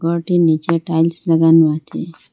ঘরটির নীচে টাইলস লাগানো আছে।